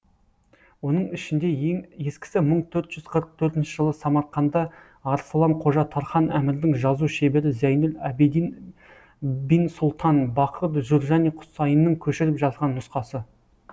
оның ішінде ең ескісі мың төрт жүз қырық төртінші жылы самарқанда арсылан қожа тархан әмірдің жазу шебері зәйнүл әбідін бин сұлтан бақыт журжани құсайынның көшіріп жазған нұсқасы